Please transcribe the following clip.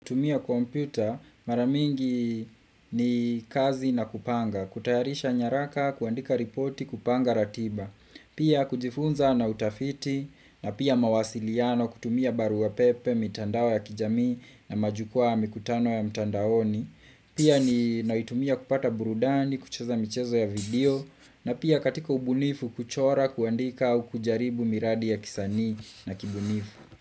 Kutumia kompyuta mara mingi ni kazi na kupanga kutayarisha nyaraka kuandika ripoti kupanga ratiba Pia kujifunza na utafiti na pia mawasiliano kutumia baruwa pepe mitandao ya kijami na majukwaa mikutano ya mtandaoni Pia ni naitumia kupata burudani kucheza michezo ya video na pia katika ubunifu kuchora kuandika au kujaribu miradi ya kisanii na kibunifu.